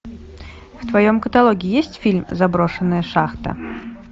в твоем каталоге есть фильм заброшенная шахта